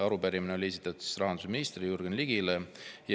Arupärimine on esitatud rahandusminister Jürgen Ligile.